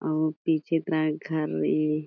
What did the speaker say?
अउर पीछे तरा घर ए--